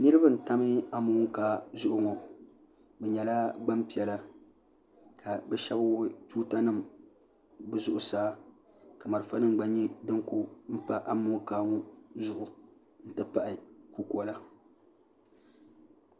niraba n tam amokaa zuɣu ŋo bi nyɛla gbanpiɛla ka bi shab wuɣi tuuta nima bi zuɣusaa ka marafa nim gba nyɛ din ku pa amokaa ŋo zuɣu n ti pahi kukola